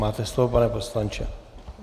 Máte slovo, pane poslanče.